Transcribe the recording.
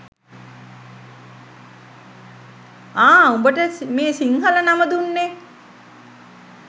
ආ උබට මේ සිංහළ නම දුන්නේ